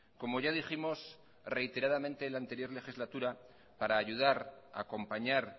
como ya dijimos reiteradamente en la anterior legislatura para ayudar acompañar